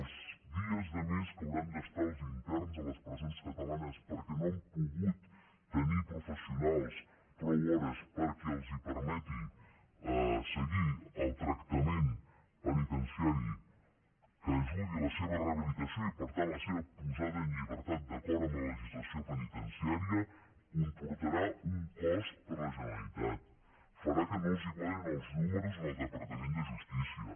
els dies de més que hauran d’estar els interns a les presons catalanes perquè no han pogut tenir professionals prou hores perquè els permeti seguir el tractament penitenciari que ajudi a la seva rehabilitació i per tant a la seva posada en llibertat d’acord amb la legislació penitenciària comportarà un cost per a la generalitat farà que no els quadrin els números en el departament de justícia